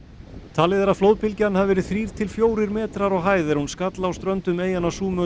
talið er að flóðbylgjan hafi verið þrír til fjórir metrar á hæð er hún skall á ströndum eyjanna Súmötru